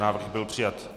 Návrh byl přijat.